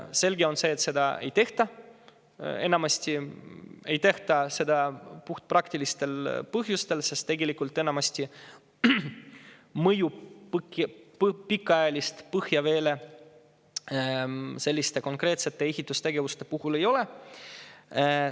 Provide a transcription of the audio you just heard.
Selge on see, et enamasti seda ei tehta, praktilistel põhjustel, sest pikaajalist mõju põhjaveele selliste konkreetsete ehitustegevuste puhul enamasti ei ole.